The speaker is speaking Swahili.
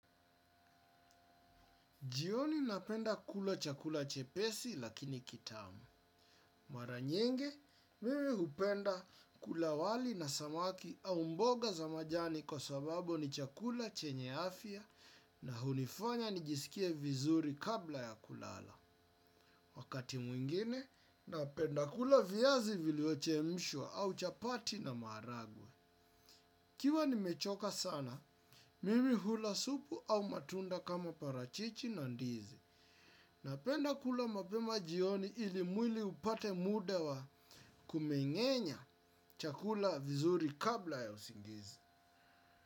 Jioni napenda kula chakula chepesi lakini kitamu. Mara nyingi, mimi hupenda kula wali na samaki au mboga za majani kwa sababu ni chakula chenye afya na hunifanya nijisikie vizuri kabla ya kulala. Wakati mwingine, napenda kula viazi viliochemshwa au chapati na maharagwe. Ikiwa nimechoka sana, mimi hula supu au matunda kama parachichi na ndizi. Napenda kula mapema jioni ili mwili upate muda wa kumeng'enya chakula vizuri kabla ya usingizi.